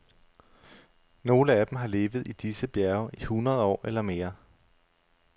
Nogle af dem har levet i disse bjerge i hundrede år eller mere.